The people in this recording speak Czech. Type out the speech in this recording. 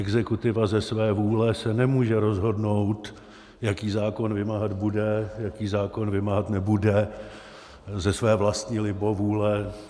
Exekutiva ze své vůle se nemůže rozhodnout, jaký zákon vymáhat bude, jaký zákon vymáhat nebude ze své vlastní libovůle.